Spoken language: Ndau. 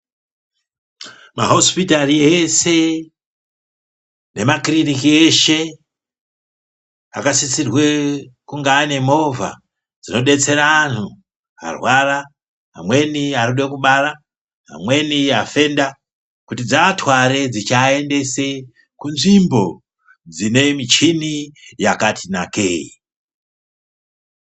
Mahosipitari eshe nemakirinika eshe akasisirwe kunge ane movha dzinodetsera anhu arwara, amweni arikude kubara, amweni afenda, kuti dziatware dzichiaendese kunzvimbo dzine michini yakati nakei.